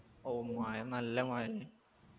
ഓ മഴ നല്ല മഴെന്നെ